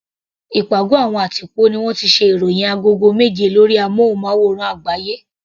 Ìpàgọ́ àwọn àtìpó ní wọ́n ti ṣe ìròhìn agogo méje lórí amúnmáwòrán àgbáyé.